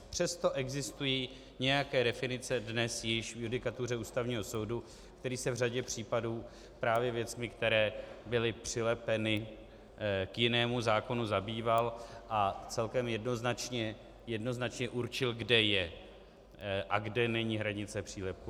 Přesto existují nějaké definice dnes již v judikatuře Ústavního soudu, který se v řadě případů právě věcmi, které byly přilepeny k jinému zákonu, zabýval a celkem jednoznačně určil, kde je a kde není hranice přílepku.